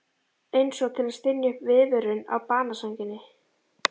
Einsog til að stynja upp viðvörun á banasænginni.